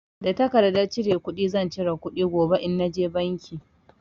Da tarkardar cire kuɗi zan cire kuɗi gobe in na je banki.